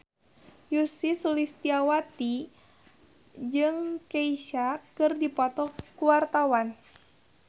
Ussy Sulistyawati jeung Kesha keur dipoto ku wartawan